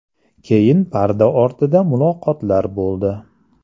Keyin parda ortida muloqotlar bo‘ldi.